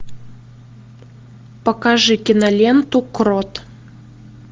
покажи киноленту крот